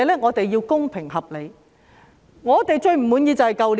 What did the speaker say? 我們要公平、合理評價他們的表現。